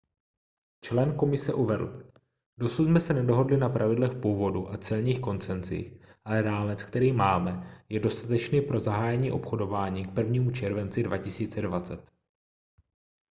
člen komise uvedl dosud jsme se nedohodli na pravidlech původu a celních koncesích ale rámec který máme je dostatečný pro zahájení obchodování k 1. červenci 2020